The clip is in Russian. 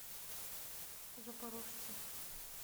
запорожце